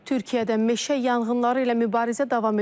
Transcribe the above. Türkiyədə meşə yanğınları ilə mübarizə davam edir.